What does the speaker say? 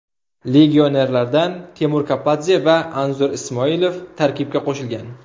Legionerlardan Timur Kapadze va Anzur Ismoilov tarkibga qo‘shilgan.